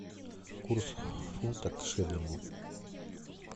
курс фунта к шиллингу